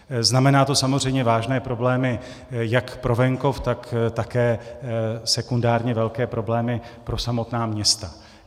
Znamená to samozřejmě vážné problémy jak pro venkov, tak také sekundárně velké problémy pro samotná města.